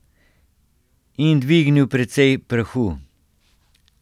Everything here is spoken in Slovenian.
In dvignil precej prahu.